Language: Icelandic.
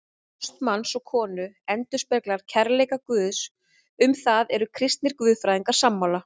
Ást manns og konu endurspeglar kærleika Guðs, um það eru kristnir guðfræðingar sammála.